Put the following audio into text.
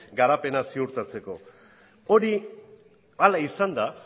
garapena ziurtatzeko hori hala izanda